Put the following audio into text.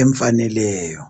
emfaneleyo